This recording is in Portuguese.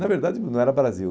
Na verdade, não era Brasil.